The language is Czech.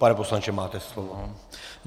Pane poslanče, máte slovo.